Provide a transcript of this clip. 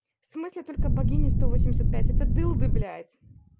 в смысле только богиня сто восемьдесят пять это дылды блять